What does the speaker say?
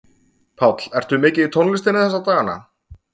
Páll: Ertu mikið í tónlistinni þessa dagana?